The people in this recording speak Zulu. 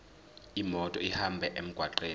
imoto ihambe emgwaqweni